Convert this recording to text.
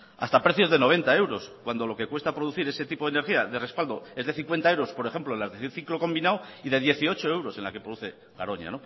hasta precios de noventa euros cuando lo que cuesta producir ese tipo de energía de respaldo es de cincuenta euros por ejemplo en las de ciclo combinado y de dieciocho euros en la que produce garoña